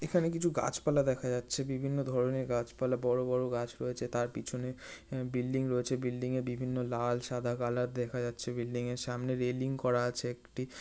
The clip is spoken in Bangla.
এখানে কিছু গাছপালা দেখা যাচ্ছে। বিভিন্ন ধরণের গাছপালা বড় বড় গাছ রয়েছে তার পিছনে আ বিল্ডিং রয়েছে। বিল্ডিং-এ বিভিন্ন লাল সাদা কালার দেখা যাচ্ছে বিল্ডিং -এর সামনে রেলিং করা আছে একটি।